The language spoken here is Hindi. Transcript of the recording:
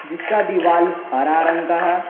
जिसका दीवाल हरा रंग का है।